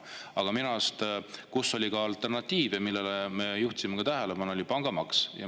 Aga minu arust oli ka alternatiive, millele me juhtisime tähelepanu, pangamaks.